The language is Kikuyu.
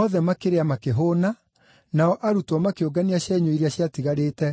Othe makĩrĩa makĩhũũna, nao arutwo makĩũngania cienyũ iria ciatigarĩte